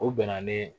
U bɛnna ni